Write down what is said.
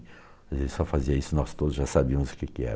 Se ele só fazia isso, nós todos já sabíamos o que que era.